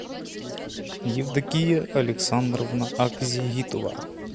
евдокия александровна акзигитова